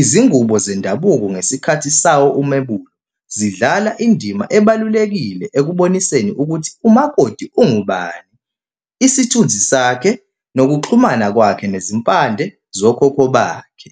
Izingubo zendabuko ngesikhathi sawo umemulo, zidlala indima ebalulekile ekuboniseni ukuthi umakoti ungubani, isithunzi sakhe, nokuxhumana kwakhe nezimpande zokhokho bakhe.